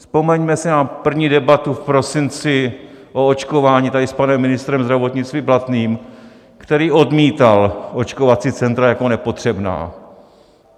Vzpomeňme si na první debatu v prosinci o očkování tady s panem ministrem zdravotnictví Blatným, který odmítal očkovací centra jako nepotřebná.